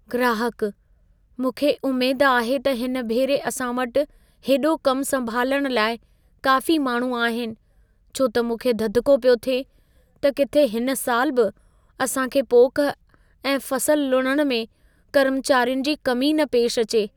ग्राहकः "मूंखे उमेद आहे त हिन भेरे असां वटि हेॾो कम संभालण लाइ काफ़ी माण्हू आहिनि। छो त मूंखे ददिको पियो थिए त किथे हिन साल बि असां खे पोख ऐं फ़सल लुणण में कर्मचारियुनि जी कमी न पेश अचे।